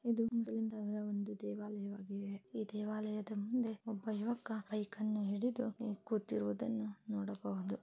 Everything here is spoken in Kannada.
ಇದು ಒಂದು ಹಿಂದೂಗಳ ದೇವಾಲಯವಾಗಿದೆ ಈ ದೇವಾಲಯದ ಮುಂದೆ ಒಬ್ಬ ಯುವಕ ಹೈಕ್ ಅನ್ನು ಹಿಡಿದು ಕೂತಿರುವುದನ್ನು ನೋಡಬಹುದಾಗಿದೆ.